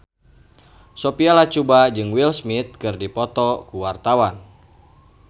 Sophia Latjuba jeung Will Smith keur dipoto ku wartawan